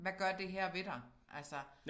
Hvad gør det her ved dig altså